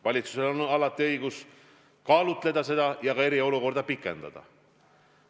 Valitsusel on alati õigus seda otsust kaalutleda ja eriolukorda pikendada.